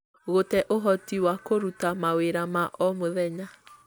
gũte ũhoti wa kũruta mawĩra ma o mũthenya